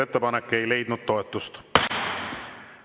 Ettepanek ei leidnud toetust.